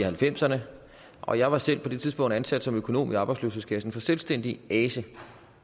halvfemserne og jeg var selv på det tidspunkt ansat som økonom i arbejdsløshedskassen for selvstændige ase